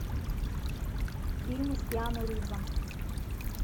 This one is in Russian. фильмы с киану ривзом